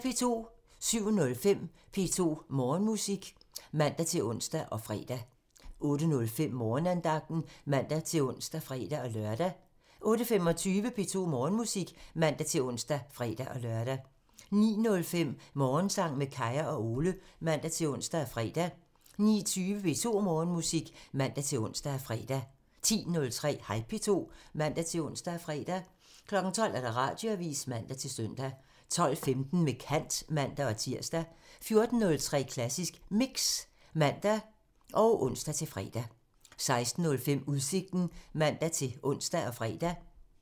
07:05: P2 Morgenmusik (man-ons og fre) 08:05: Morgenandagten (man-ons og fre-lør) 08:25: P2 Morgenmusik (man-ons og fre-lør) 09:05: Morgensang med Kaya og Ole (man-ons og fre) 09:20: P2 Morgenmusik (man-ons og fre) 10:03: Hej P2 (man-ons og fre) 12:00: Radioavisen (man-søn) 12:15: Med kant (man-tir) 14:03: Klassisk Mix (man og ons-fre) 16:05: Udsigten (man-ons og fre)